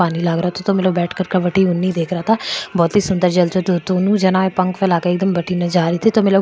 पानी लाग रखो बहुत ही सुन्दर जंतु --